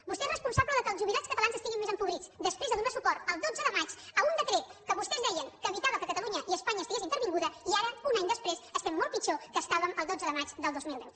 vostè és responsable que els jubilats catalans estiguin més empobrits després de donar suport el dotze de maig a un decret que vostès deien que evitava que catalunya i espanya estiguessin intervingudes i ara un any després estem molt pitjor del que estàvem el dotze de maig del dos mil deu